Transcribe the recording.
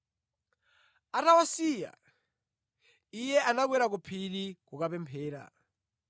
Atawasiya, Iye anakwera ku phiri kukapemphera.